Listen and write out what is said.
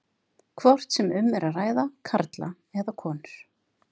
hvort sem um er að ræða karla eða konur.